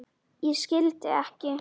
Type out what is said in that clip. Ég skildi ekki.